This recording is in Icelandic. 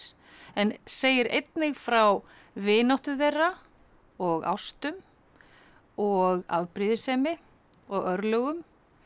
en segir einnig frá vináttu þeirra og ástum og afbrýðisemi og örlögum